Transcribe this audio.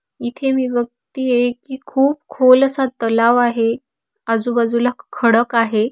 इथे मी बघतिये कि खुप खोल असा तलाव आहे. आजुबाजूला खडक आहे.